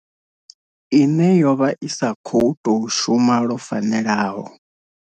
Ine yovha i sa khou tou shuma lwo fanelaho.